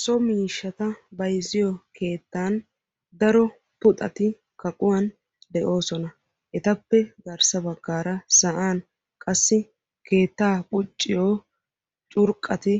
So miishshata bayizziyo keettan daro puxati kaquwan de'oosona. ettappe garssa baggaara sa'aan qassi keettaa qucciyo curqqati